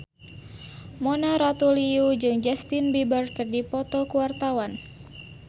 Mona Ratuliu jeung Justin Beiber keur dipoto ku wartawan